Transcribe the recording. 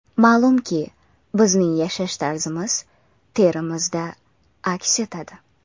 Ma’lumki, bizning yashash tarzimiz terimizda aks etadi.